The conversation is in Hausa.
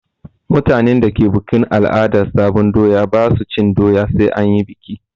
Mutanen da ke bukin al'adan sabon doya ba su cin doya sai bayan an yi bikin.